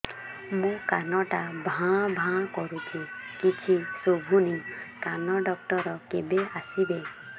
ମୋ କାନ ଟା ଭାଁ ଭାଁ କରୁଛି କିଛି ଶୁଭୁନି କାନ ଡକ୍ଟର କେବେ ଆସିବେ